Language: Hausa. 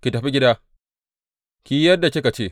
Ki tafi gida, ki yi yadda kika ce.